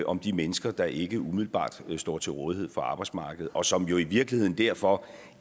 om de mennesker der ikke umiddelbart står til rådighed for arbejdsmarkedet og som jo i virkeligheden derfor